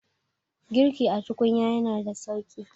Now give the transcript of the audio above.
girki a tukunya yana da sauki